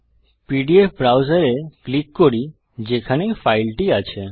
PDF browser এ click করি যেখানে ফাইলটি আছে